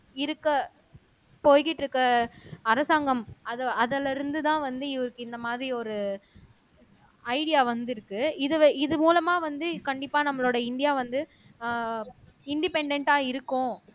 இருக்க போய்க்கிட்டிருக்க அரசாங்கம் அது அதுல இருந்துதான் வந்து இவருக்கு இந்த மாரி ஒரு ஐடியா வந்திருக்கு இதுல இது மூலமா வந்து கண்டிப்பா நம்மளோட இந்தியா வந்து அஹ் இன்டிபேன்டென்ட்டா இருக்கும்